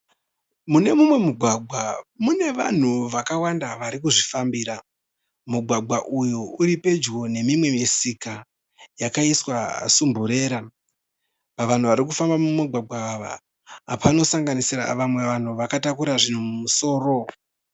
Mune mumwe mugwagwa mune vanhu vakawanda varikuzvifambira. Mugwagwa uyu uripedyo nemimwe musika yakaiswa sumburera. Vanhu varikufamba mumugwagwa uyu vanosanganisira vanhu vakatakura zvinhu mumusoro.